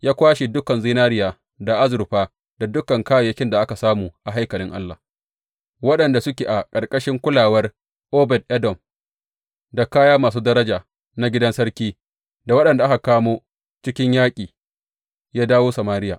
Ya kwashe dukan zinariya da azurfa da dukan kayayyakin da aka samu a haikalin Allah waɗanda suke a ƙarƙashin kulawar Obed Edom, da kaya masu daraja na gidan sarki, da waɗanda aka kamo cikin yaƙi, ya kawo Samariya.